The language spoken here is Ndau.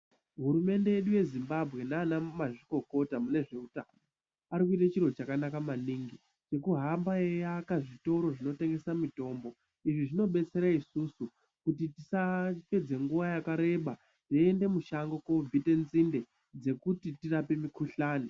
Hurumende yedu yeZimbabwe nanamazvikokota mune zveutano ari kuite chiro chakanaka maningi chekuhamba eiaka zvitoro zvinotengesa mitombo. Izvi zvinobetsera isusu kuti tisapedze nguwa yakareba teiende mushango kobvite nzinde dzekuti tirape mikuhlane.